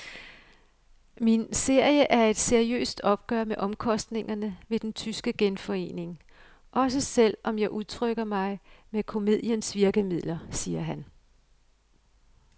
Min serie er et seriøst opgør med omkostningerne ved den tyske genforening, også selv om jeg udtrykker mig med komediens virkemidler, siger han.